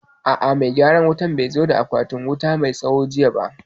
A'a, mai gyaran wutan bai zo da akwatin wuta mai tsawo jiya ba